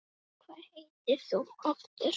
Hvað heitir þú aftur?